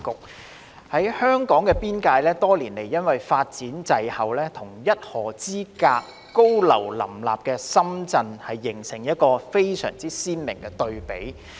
另一方面，香港邊境地帶多年來發展滯後，與僅一河之隔、高廈林立的深圳形成鮮明對比。